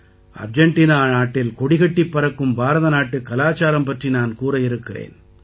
Argentina நாட்டில் கொடிகட்டிப் பறக்கும் பாரதநாட்டுக் கலாச்சாரம் பற்றி நான் கூற இருக்கிறேன்